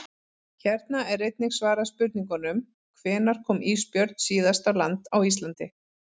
Hér er einnig svarað spurningunum: Hvenær kom ísbjörn síðast á land á Íslandi?